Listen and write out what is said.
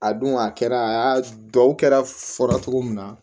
A dun a kɛra a y'a dɔw kɛra fɔra cogo min na